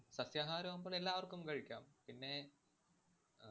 സസ്യാഹാരമാകുമ്പോള്‍ എല്ലാവര്‍ക്കും കഴിക്കാം. പിന്നെ